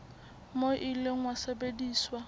moo o ile wa sebediswa